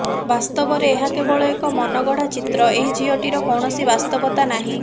ବାସ୍ତବରେ ଏହା କେବଳ ଏକ ମନଗଢା ଚିତ୍ର ଏହି ଝିଅଟିର କୌଣସି ବାସ୍ତବତା ନାହିଁ